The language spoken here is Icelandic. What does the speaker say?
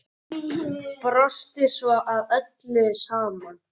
Brostu svo að öllu saman.